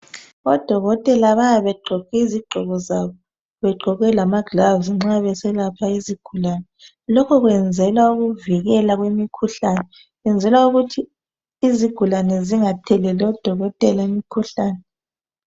Odokotela bayabe begqoke izigqoko zabo, begqoke lama gloves nxa beselapha izigulane. Lokho kwenzelwa ukuvikelwa kwemikhuhlane, benzela ukuthi izigulane zingatheleli odokotela imikhuhlane.